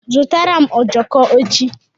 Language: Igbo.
Zụrụtara m ojoko echi!